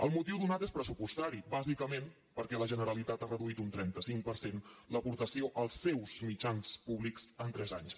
el motiu donat és pressupostari bàsicament perquè la generalitat ha reduït un trenta cinc per cent l’aportació als seus mitjans públics en tres anys